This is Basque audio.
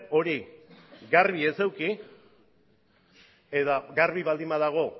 hori garbi ez eduki eta garbi baldin badago